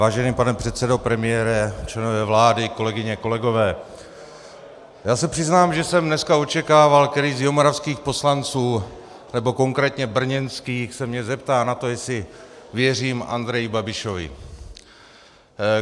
Vážený pane předsedo, premiére, členové vlády, kolegyně, kolegové, já se přiznám, že jsem dneska očekával, který z jihomoravských poslanců, nebo konkrétně brněnských, se mě zeptá na to, jestli věřím Andreji Babišovi.